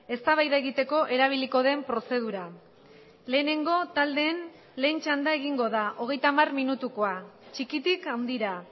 eztabaida egiteko erabiliko den prozedura lehenengo taldeen lehen txanda egingo da hogeita hamar minutukoa txikitik handira